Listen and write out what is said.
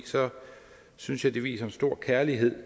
synes jeg det viser en stor kærlighed